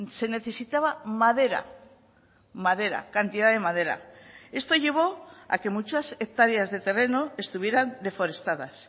se necesitaba madera madera cantidad de madera esto llevó a que muchas hectáreas de terreno estuvieran desforestadas